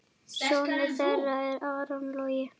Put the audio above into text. Sonur þeirra er Aron Logi.